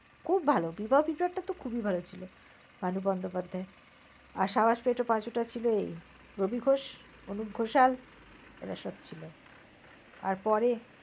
খুব ভাল বিবাহ বিভ্রাটটা তো খুবই ভাল ছিল ভানু বন্দোপাধ্যায়ের। আর সাবাস পেটো পাঁচুটা ছিল এই রবি ঘোষ, অনুপ ঘোষাল, এরা সব ছিল। আর পরে